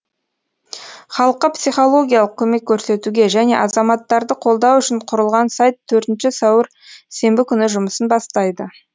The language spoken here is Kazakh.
халыққа психологиялық көмек көрсетуге және азаматтарды қолдау үшін құрылған сайт төртінші сәуір сенбі күні жұмысын бастайды